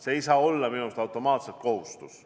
See ei saa olla minu arust automaatselt kohustus.